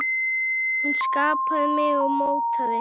Hún skapaði mig og mótaði.